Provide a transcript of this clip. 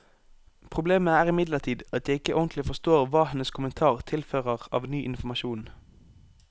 Problemet er imidlertid at jeg ikke ordentlig forstår hva hennes kommentar tilfører av ny informasjon.